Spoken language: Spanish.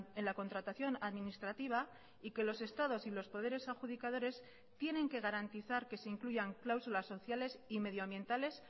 en la contratación administrativa y que los estados y los poderes adjudicadores tienen que garantizar que se incluyan cláusulas sociales y medioambientales